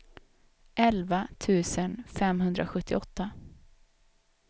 elva tusen femhundrasjuttioåtta